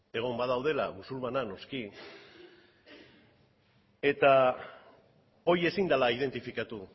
egon badaudela musulmanak noski eta hori ezin dela identifikatu